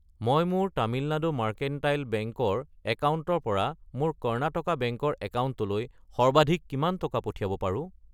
মই মোৰ Tamil Nadu mercantile bank ৰ একাউণ্টৰ পৰা মোৰ কৰ্ণাটকা বেংক ৰ একাউণ্টলৈ সৰ্বাধিক কিমান টকা পঠিয়াব পাৰো?